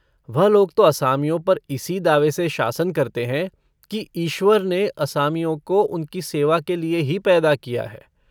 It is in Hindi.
वह लोग तो असामियों पर इसी दावे से शासन करते हैं कि ईश्वर ने असामियों को उनकी सेवा के लिए ही पैदा किया है।